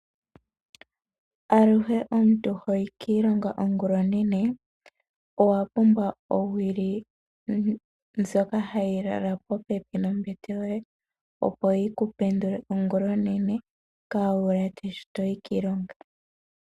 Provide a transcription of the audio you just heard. Aluhe omuntu hoyi kiilonga ongula onene, owa pumbwa owili ndjoka hayi lala popepi nombete yoye, opo yiku pendule ongula onene waalaate shi toyi kiilonga.